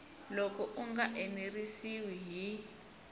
loko u nga enerisiwi hi